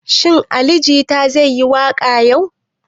Shin Ali jita zai yi waƙa yau?